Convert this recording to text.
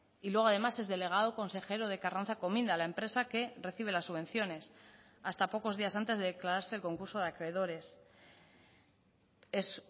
y luego además es delegado consejero de karrantzako minda la empresa que recibe las subvenciones hasta pocos días antes de declararse el concurso de acreedores es